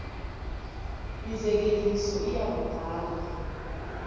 mizekeliso iya kudala